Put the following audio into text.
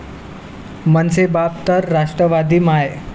मनसे बाप तर राष्ट्रवादी माय'